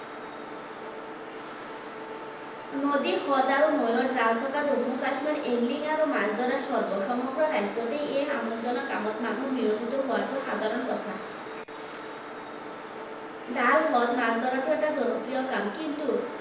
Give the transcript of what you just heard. নদীৰ হ্ৰদ আৰু নৈৰ জাল থকা জম্মু কাশ্মীৰ angling আৰু মাছ ধৰাৰ স্বৰ্গ। সমগ্ৰ ৰাজ্যতে এই আমোদজনক কামত মানুহ বিৰঞ্জিত হোৱাটো সাধাৰণ কথা। জাল, হ্ৰদ মাছ ধৰাটো এটা জনপ্ৰিয় কাম। কিন্তু